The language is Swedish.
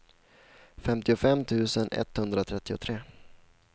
femtiofem tusen etthundratrettiotre